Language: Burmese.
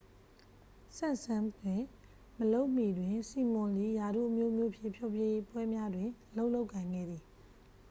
စမ့်စမ်းစ် တွင်မလုပ်မီတွင် စီမွန် သည် ရာထူးအမျိုးမျိုးဖြင့် ဖျော်ဖြေပွဲများတွင် အလုပ်လုပ်ကိုင်ခဲ့သည်